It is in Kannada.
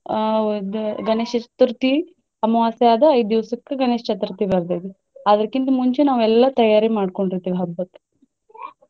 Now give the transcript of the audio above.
ಆಹ್ ಇದ ಗಣೇಶ ಚತುರ್ಥಿ ಅಮಾವಾಸ್ಯೆ ಆದ ಐದ್ ದಿವ್ಸಕ್ಕೆ ಗಣೇಶ ಚತುರ್ಥಿ ಬರ್ತೈತಿ. ಅದ್ರಕ್ಕಿಂತ ಮುಂಚೆ ನಾವೆಲ್ಲ ತಯಾರಿ ಮಾಡ್ಕೊಂಡಿರ್ತೆವ ಹಬ್ಬಕ್ಕ.